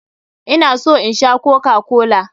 Ina so in Sha kokakola.